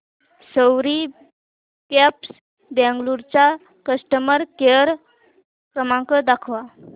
सवारी cabs Bengaluru चा customer care क्रमांक दाखवा